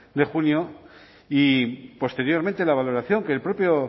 de junio y posteriormente la valoración que el propio